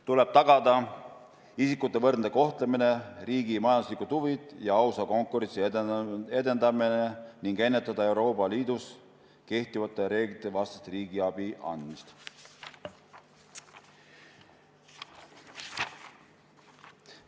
Tuleb tagada isikute võrdne kohtlemine, riigi majanduslikud huvid ja ausa konkurentsi edendamine ning ennetada Euroopa Liidus kehtivate reeglite vastast riigiabi andmist.